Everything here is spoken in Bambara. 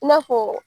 I n'a fɔ